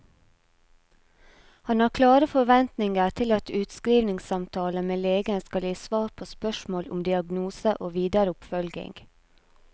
Han har klare forventninger til at utskrivningssamtalen med legen skal gi svar på spørsmål om diagnose og videre oppfølging.